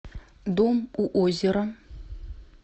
дом у озера